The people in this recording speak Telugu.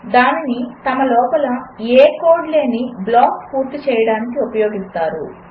దానిని తమ లోపల ఏ కోడ్ లేని బ్లాక్స్ పూర్తి చేయడానికి ఉపయోగిస్తారు